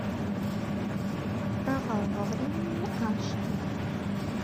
провал во времени аш дэ